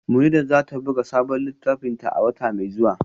Munirat za ta buga sabon littafinta a wata mai zuwa